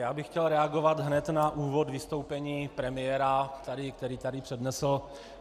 Já bych chtěl reagovat hned na úvod vystoupení premiéra, který tady přednesl.